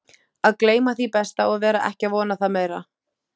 Að gleyma því besta og vera ekki að vona það meira